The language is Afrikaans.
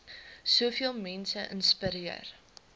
soveel mense inspireer